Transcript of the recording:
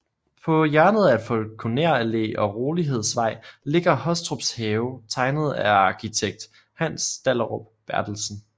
På hjørnet af Falkoner Allé og Rolighedsvej ligger Hostrups Have tegnet af arkitekt Hans Dahlerup Berthelsen